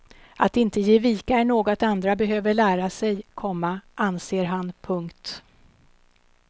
Att inte ge vika är något andra behöver lära sig, komma anser han. punkt